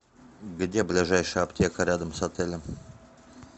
где ближайшая аптека рядом с отелем